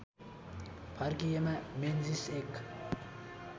फर्किएका मेन्जीस एक